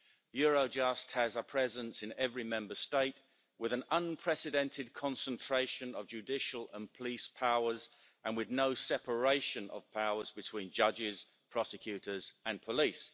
Eurojust has a presence in every Member State, with an unprecedented concentration of judicial and police powers and with no separation of powers between judges, prosecutors and police.